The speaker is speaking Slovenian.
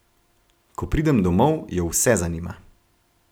Ko pridem domov, jo vse zanima.